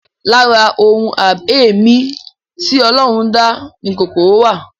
Lára ohun abẹ̀mí tí Ọlọ́run dá ni kòkòrò wà